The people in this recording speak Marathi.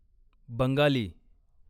बंगाली